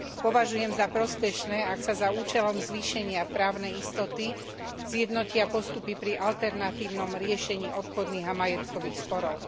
Považujem za prospešné, ak sa za účelom zvýšenia právnej istoty zjednotia postupy pri alternatívnom riešení obchodných a majetkových sporov.